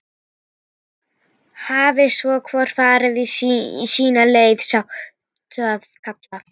Hafi svo hvor farið sína leið, sáttur að kalla.